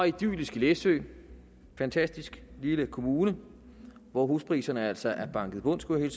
idylliske læsø en fantastisk lille kommune hvor huspriserne altså er banket i bund skulle jeg